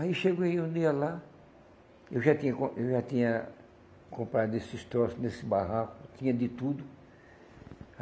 Aí cheguei um dia lá, eu já tinha com eu já tinha comprado esses troços nesse barraco, tinha de tudo.